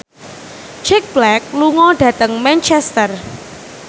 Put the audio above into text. Jack Black lunga dhateng Manchester